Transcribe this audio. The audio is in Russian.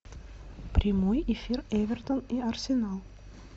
прямой эфир эвертон и арсенал